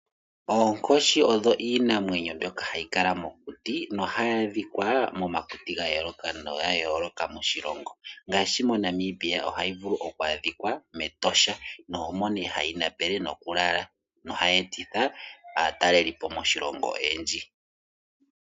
Oonkoshi odho iinamwenyo mbyoka hayi kala mokuti hayi adhika momakuti ga yooloka moshilongo ngaashi moNamibia ohayi vulu oku adhika mEtosha nomo nee hayi napele noku lala nohayi etitha aataleli po moshilongo oyendji.